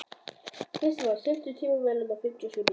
Kristmar, stilltu tímamælinn á fimmtíu og sjö mínútur.